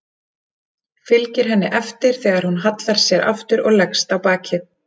Fylgir henni eftir þegar hún hallar sér aftur og leggst á bakið.